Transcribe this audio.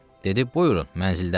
Dedi buyurun, mənzildədir.